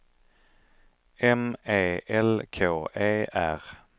M E L K E R